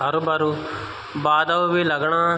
हरु भरू बादल बि लगणा।